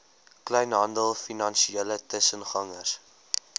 kleinhandel finansiële tussengangers